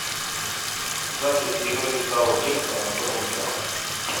запись игры саутгемптона с тоттенхэмом